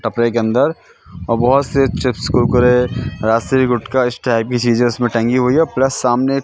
टपरे के अंदर और बहोत से चिप्स कुरकुरे राजश्री गुटका इस टाइप की चीजे उसमे टंगी हुई है प्लस सामने--